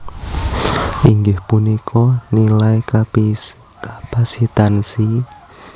inggih punika nilai kapasitansi